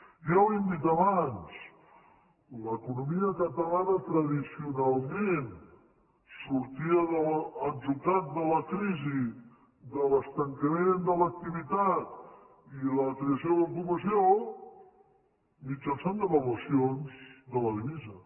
ja ho hem dit abans l’economia catalana tradicionalment sortia de l’atzucac de la crisi de l’estancament de l’activitat i de la creació de l’ocupació mitjançant devaluacions de la divisa